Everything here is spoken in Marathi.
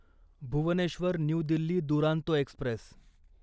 Bhubaneswar new Delhi Duronto Express